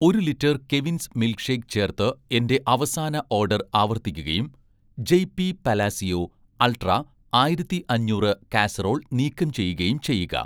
ഒരു litre 'Kevin's' milk shake ചേർത്ത് എന്‍റെ അവസാന ഓഡർ ആവർത്തിക്കുകയും, 'ജെയ് പി പലാസിയോ''' അൾട്രാ ആയിരത്തി അഞ്ഞൂറ് കാസറോൾ നീക്കം ചെയ്യുകയും ചെയ്യുക